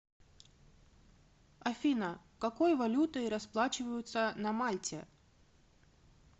афина какой валютой расплачиваются на мальте